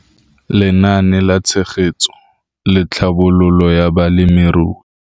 Lenaane la Tshegetso le Tlhabololo ya Balemirui.